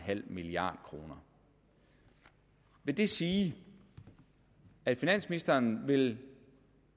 milliard kroner vil det sige at finansministeren vil